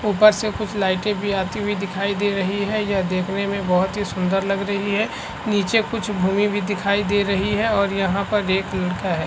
ऊपर से कुछ लाइटे भी आती हुई दिखाई दे रही है यह देखने में बहोत ही सुंदर लग रही है नीचे कुछ भूमि भी दिखाई दे रही है और यहाँ पर एक लड़का है।